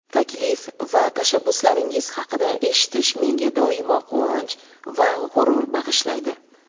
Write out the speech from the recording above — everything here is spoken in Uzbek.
taklif va tashabbuslaringiz haqida eshitish menga doimo quvonch va g‘urur bag‘ishlaydi.